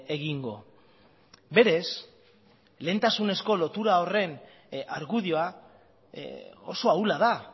egingo berez lehentasunezko lotuta horren argudioa oso ahula da